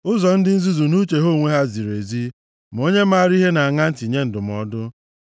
Ụzọ ndị nzuzu nʼuche ha onwe ha ziri ezi, ma onye maara ihe na-aṅa ntị nye ndụmọdụ.